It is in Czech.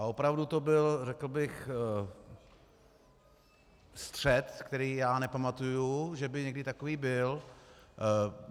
A opravdu to byl, řekl bych, střet, který já nepamatuji, že by někdy takový byl.